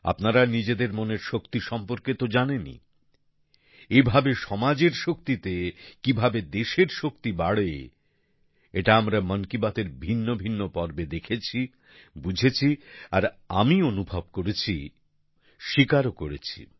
আপনারা নিজেদের মনের শক্তি সম্পর্কে তো জানেনই এভাবেই সমাজের শক্তিতে কীভাবে দেশের শক্তি বাড়ে এটা আমরা মন কি বাতের ভিন্ন ভিন্ন পর্বে দেখেছি বুঝেছি আর আমি অনুভব করেছি স্বীকারও করেছি